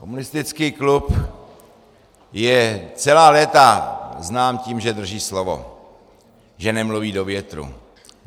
Komunistické klub je celá léta znám tím, že drží slovo, že nemluví do větru.